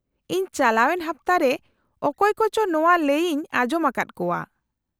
-ᱤᱧ ᱪᱟᱞᱟᱣᱮᱱ ᱦᱟᱯᱛᱟ ᱨᱮ ᱚᱠᱚᱭ ᱠᱚᱪᱚ ᱱᱚᱶᱟ ᱞᱟᱹᱭ ᱤᱧ ᱟᱸᱡᱚᱢ ᱟᱠᱟᱫ ᱠᱚᱣᱟ ᱾